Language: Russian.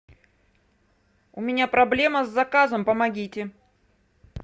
у меня проблема с заказом помогите